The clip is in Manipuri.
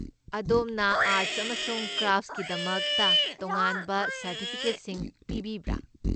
ꯑꯗꯣꯝꯅ ꯑꯥꯔꯠꯁ ꯑꯃꯁꯨꯡ ꯀ꯭ꯔꯥꯐꯠꯁꯀꯤꯗꯃꯛꯇ ꯇꯣꯉꯥꯟꯕ ꯁꯔꯇꯤꯐꯤꯀꯦꯠꯁꯤꯡ ꯄꯤꯕꯤꯕ꯭ꯔꯥ?